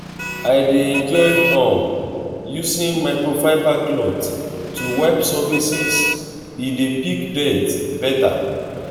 i dey enjoy um using microfiber cloth to wipe surfaces e dey pick dirt beta.